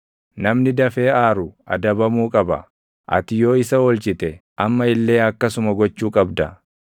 Namni dafee aaru adabamuu qaba; ati yoo isa oolchite, amma illee akkasuma gochuu qabda.